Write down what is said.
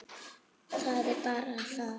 Það er bara það.